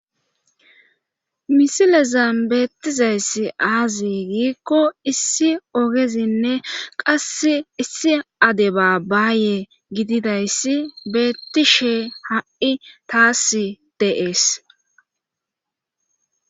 misilezan beettizayssi aazi giikko issi ogezinne qas issi ade baabbaaye gididayssi beettishe ha7i taas deees